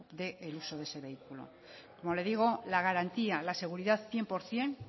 de uso de ese vehículo como le digo la garantía la seguridad cien por ciento